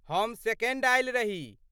हम सेकण्ड आयल रही।